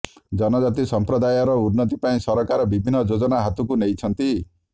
ଜନଜାତି ସଂପ୍ରଦାୟର ଉନ୍ନତି ପାଇଁ ସରକାର ବିଭିନ୍ନ ଯୋଜନା ହାତକୁ ନେଇଛନ୍ତି